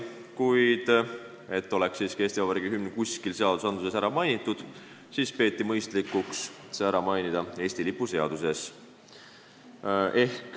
Kuid et Eesti Vabariigi hümn oleks siiski kuskil seaduses ära mainitud, siis peeti mõistlikuks see ära mainida Eesti lipu seaduses.